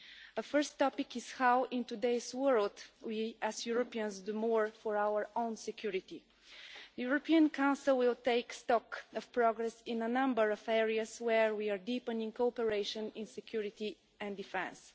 A first topic is how, in today's world, we as Europeans do more for our own security. The European Council will take stock of progress in a number of areas where we are deepening cooperation in security and defence.